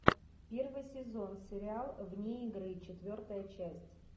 первый сезон сериал вне игры четвертая часть